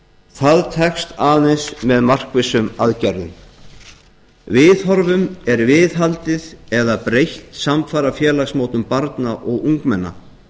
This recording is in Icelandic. það tekst aðeins með markvissum aðgerðum viðhorfum er viðhaldið eða breytt samfara félagsmótun barna og ungmenna